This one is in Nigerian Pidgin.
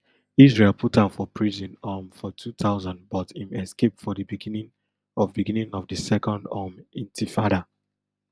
israel put am for prison um for two thousand but im escape for di beginning of beginning of di second um intifada